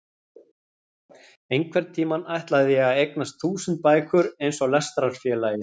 Einhvern tímann ætlaði ég að eignast þúsund bækur eins og Lestrarfélagið.